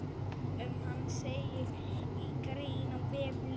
Um hann segir í grein á vef Lyfju.